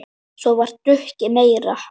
Svo var drukkið meira.